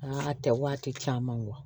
Aa a tɛ waati caman